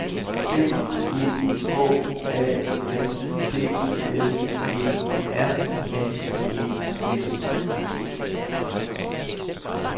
B E H A N D L E R N E S